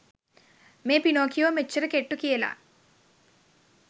මේ පිනොකියෝ මෙච්චර කෙට්ටු කියල